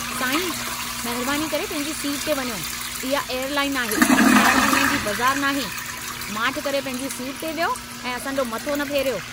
साईं, महिरबानी करे पंहिंजी सीट ते वञो। इहा एयरलाइन आहे, खाइण-पीअण जी बज़ारु नाहे! माठ करे पंहिंजी सीट ते वियो ऐं असां जो मथो न फेरियो।